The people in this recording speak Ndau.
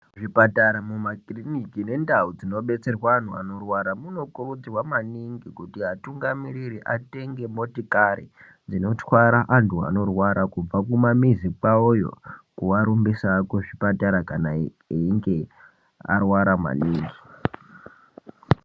Zvipatara ,mumakiriniki nendau dzinobetserwa antu anorwara, munokirudzirwa maningi kuti atungamiriri atenge motikari, dzinotwara antu anorwara kubva kumamizi kwawoyo kuarumbisa kuzvipatara kana ei einge arwara maningi.